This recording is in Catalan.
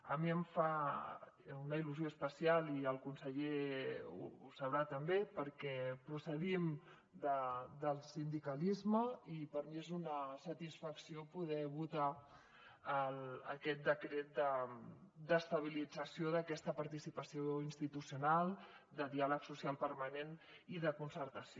a mi em fa una il·lusió especial i el conseller també ho deu saber perquè procedim del sindicalisme i per mi és una satisfacció poder votar aquest decret d’estabilització d’aquesta participació institucional de diàleg social permanent i de concertació